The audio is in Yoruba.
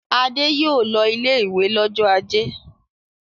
Adé yóò lọ ilé-ìwé lọ́jọ́ ajé.